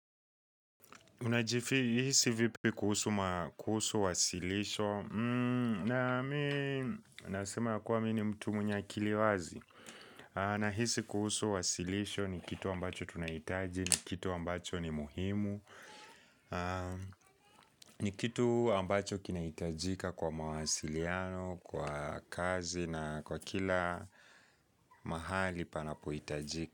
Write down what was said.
Unajihisi vipi kuhusu wasilisho na mi nasema yakuwa mimi ni mtu mwenye akili wazi Nahisi kuhusu wasilisho ni kitu ambacho tunahitaji ni kitu ambacho ni muhimu ni kitu ambacho kinahitajika kwa mawasiliano, kwa kazi na kwa kila mahali panapohitajika.